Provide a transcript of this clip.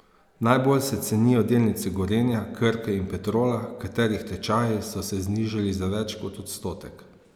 Najbolj se cenijo delnice Gorenja, Krke in Petrola, katerih tečaji so se znižali za več kot odstotek.